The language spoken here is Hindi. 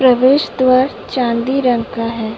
प्रवेश द्वार चांदी रंग का है।